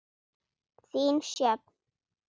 Þín, Sjöfn.